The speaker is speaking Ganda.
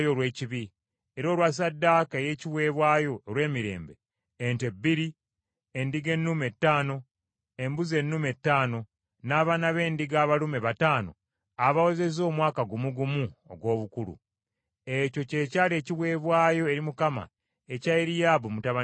era olwa ssaddaaka ey’ebiweebwayo olw’emirembe: ente bbiri, endiga ennume ttaano, embuzi ennume ttaano, n’abaana b’endiga abalume bataano abawezezza omwaka gumu gumu ogw’obukulu. Ekyo kye kyali ekiweebwayo eri Mukama ekya Eriyaabu mutabani wa Keroni.